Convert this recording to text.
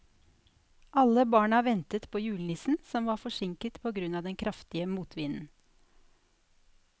Alle barna ventet på julenissen, som var forsinket på grunn av den kraftige motvinden.